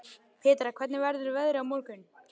Petra, hvernig verður veðrið á morgun?